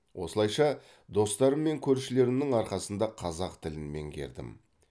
осылайша достарым мен көршілерімнің арқасында қазақ тілін меңгердім